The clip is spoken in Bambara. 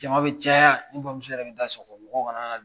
Jama bɛ caya n bamuso yɛrɛ bɛ da sɔgɔ mɔgɔ kanana